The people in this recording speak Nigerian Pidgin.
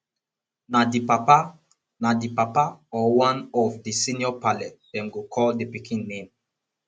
na di papa na di papa or one of di senior parle dem go call di pikin name